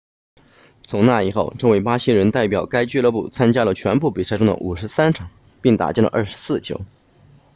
从那以后这位巴西人代表该俱乐部参加了全部比赛中的53场并打进了24球